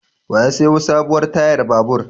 Wa ya sayo sabuwar tayar babur?